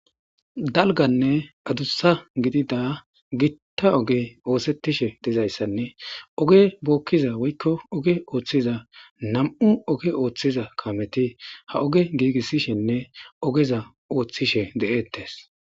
dalganne adussa gidida gitta oge oosettishe dizayssanne oge bookkiza woykko oge ooththiza nam7u oge ooththiza kameti ha oge giigissishenne ogeza ooththishe de7ettes